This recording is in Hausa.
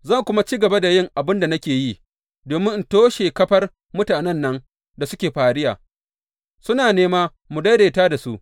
Zan kuma ci gaba da yin abin da nake yi, domin in toshe kafar mutanen nan da suke fariya, suna nema mu daidaita da su.